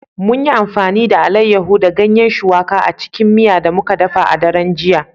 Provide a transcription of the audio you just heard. Mun yi amfani da Alayyahu da Ganyen shuwaƙa a cikin miya da muka dafa a daren jiya